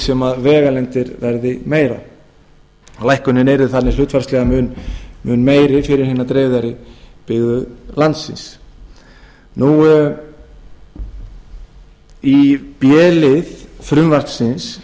sem vegalengdir yrðu meiri lækkunin verði þannig hlutfallslega mun meiri fyrir hinar dreifðari byggðir landsins í b lið frumvarpsins